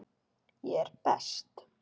Ég er best.